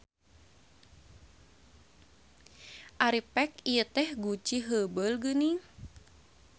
Ari pek ieu teh guci heubeul geuning.